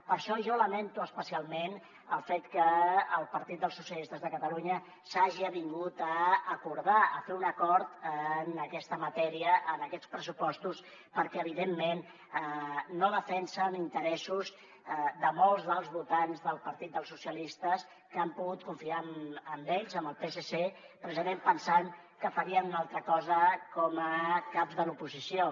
per això jo lamento especialment el fet que el partit dels socialistes de catalunya s’hagi avingut a acordar a fer un acord en aquesta matèria en aquests pressupostos perquè evidentment no defensen els interessos de molts dels votants del partit dels socialistes que han pogut confiar en ells en el psc precisament pensant que farien una altra cosa com a caps de l’oposició